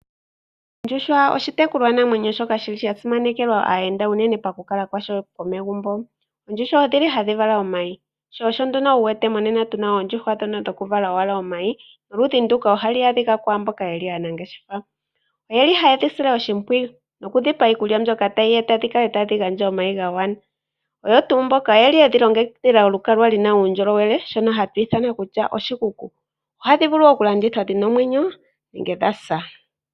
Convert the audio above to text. Oondjuhwa oshitekulwa namwenyo shoka shili sha simanekelwa aayenda unene pakukalwa kwasho komegumbo. Oondjuhwa odhili hadhi vala omayi sho osho wu wete monena tuna oondjuhwa ndhono dhoku vala owala omayi noludhi nduka ohalu adhika kwamboka yeli aanangeshefa, oyeli hayedhi sile oshimpwiyu noku dhi pa iikulya mbyoka tayi eta dhi kale tadhi gandja omayi ga gwana oyo tuu mboka oyeli yedhi longekidhila okukala lina uundjo lowele shono hashi ithanwa kutya oshikuku. Ohadhi vulu oku landithwa dhina imwenyo nenge dha sa.